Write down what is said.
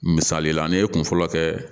Misali la ne ye kun fɔlɔ kɛ